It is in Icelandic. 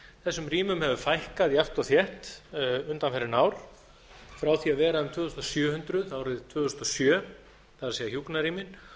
þessum rýmum hefur fækkað jafnt og þétt undanfarin ár frá því að vera um tvö þúsund sjö hundruð árið tvö þúsund og sjö það er hjúkrunarrými